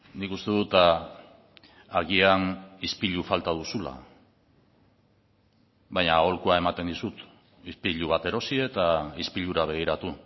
nik uste dut agian ispilu falta duzula baina aholkua ematen dizut ispilu bat erosi eta ispilura begiratu